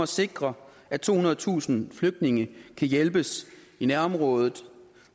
sikre at tohundredetusind flygtninge kan hjælpes i nærområdet